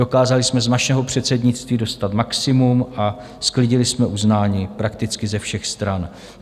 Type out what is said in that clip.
Dokázali jsme z našeho předsednictví dostat maximum a sklidili jsme uznání prakticky ze všech stran.